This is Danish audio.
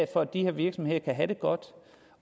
for at de her virksomheder kan have det godt